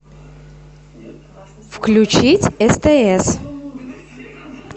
включить стс